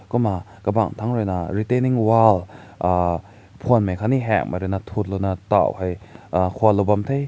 kumna kabang tangrui na retening wall uhh phün mai kat ni hank mai thüt lao na tao hae kaün lao ban hae.